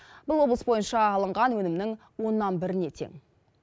бұл облыс бойынша алынған өнімнің оннан біріне тең